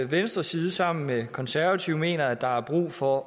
venstres side sammen med konservative mener at der er brug for